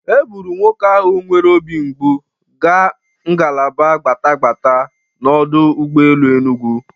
E bụru nwoke ahụ nwere obi mgbụ ga ngalaba gbatagbata n'ọdụ ụgbọelu Enugu.